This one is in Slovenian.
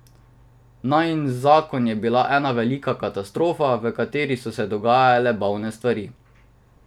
Najin zakon je bila ena velika katastrofa, v kateri so se dogajale bolne stvari.